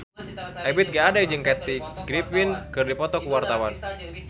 Ebith G. Ade jeung Kathy Griffin keur dipoto ku wartawan